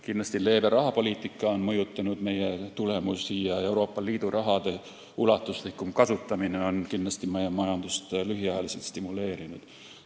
Kindlasti on leebe rahapoliitika mõjutanud meie tulemusi ning Euroopa Liidu raha ulatuslikum kasutamine on meie majandust lühiajaliselt stimuleerinud.